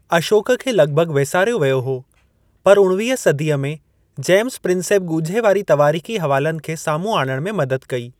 अशोक खे लॻिभॻि वेसारियो वियो हो पर उणिवीह सदीअ में जेम्स प्रिंसेप ॻुझे तवारीख़ी हवालनि खे साम्हूं आणणु में मदद कई।